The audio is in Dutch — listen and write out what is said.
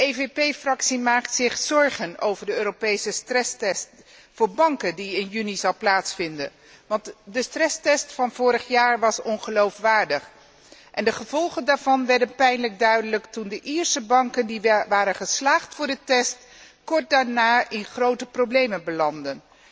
Volkspartij maakt zich zorgen over de Europese stresstest voor banken die in juni zal plaatsvinden, want de stresstest van vorig jaar was ongeloofwaardig en de gevolgen daarvan werden pijnlijk duidelijk, toen de Ierse banken die waren geslaagd voor de test kort daarna in grote problemen belandden.